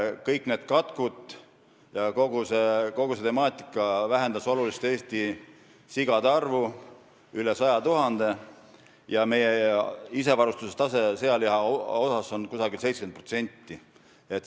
Kõik need katkud ja kogu see problemaatika vähendas oluliselt Eestis sigade arvu, üle 100 000, ja meie sealihaga isevarustatuse tase on umbes 70%.